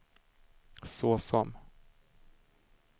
såsom